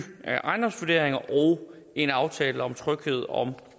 ejendomsvurderinger og en aftale om tryghed om